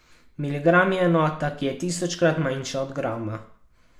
Miligram je enota, ki je tisočkrat manjša od grama.